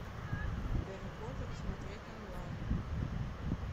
гарри поттер смотреть онлайн